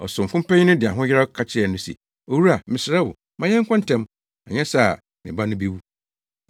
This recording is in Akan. Ɔsomfo panyin no de ahoyeraw ka kyerɛɛ no se, “Owura, mesrɛ wo, ma yɛnkɔ ntɛm, anyɛ saa a me ba no bewu.”